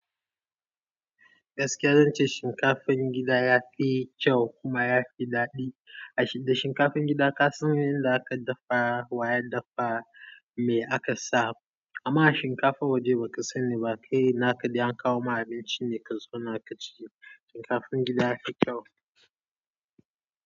Gaskiya zan ce shinkafan gida ya fi kyau kuma ya fi daɗi. A shida shinkafan gida ka san yanda aka dafa, wa ya dafa, me aka sa. Amma shinkafa waje ba ka sani ba, kai naka dai an kawo ma abinci ne ka zona ka ci. Shinkafan gida ya fi kyau.